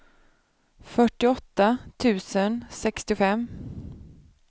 fyrtioåtta tusen sextiofem